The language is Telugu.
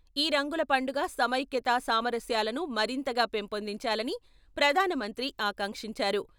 ఈ రంగుల పండుగ సమైక్యతా సామరస్యాలను మరింతగా పెంపొందించాలని ప్రధానమంత్రి ఆకాంక్షించారు.